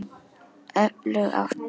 Öflug átta.